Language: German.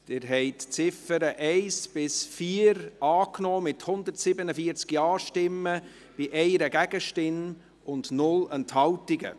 Sie haben die Ziffern 1–4 angenommen, mit 147 Ja-Stimmen bei 1 Gegenstimme und 0 Enthaltungen.